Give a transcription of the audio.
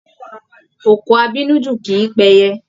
Òkò abínú jù kìí pẹyẹ.